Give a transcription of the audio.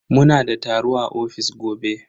Muna da taro a ofis gobe.